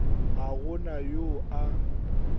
ga go na yo a